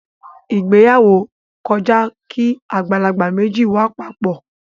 Ìgbéyàwó kọjá kí àgbàlagbà méjì wà papọ.